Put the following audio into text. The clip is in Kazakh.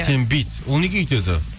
сен бүйт ол неге олай өйтеді